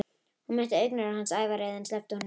Hún mætti augnaráði hans, ævareið, en sleppti honum þó.